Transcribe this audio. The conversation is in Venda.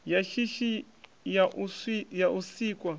ya shishi ya u sikwa